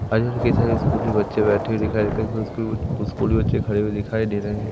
कई सारे स्कूली बच्चे बैठे दिखाई स्कूल के बच्चे खड़े हुए दिखाई दे रहे हैं।